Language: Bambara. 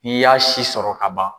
N'i y'a si sɔrɔ ka ban